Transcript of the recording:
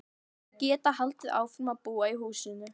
Til að geta haldið áfram að búa í húsinu.